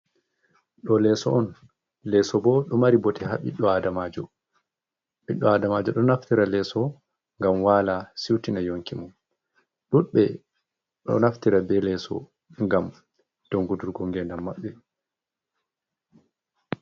Ɗo leeso oun, leeso boh ɗon mari bote haa ɓiɗɗo Aadamajo, Ɓiɗɗo Aadamajo ɗon naftira bee leeso ngam waala siwtina yonki mum, Ɗuɗɓe ɗon naftira bee leeso ngam tonkutungo ngeendam maɓɓe.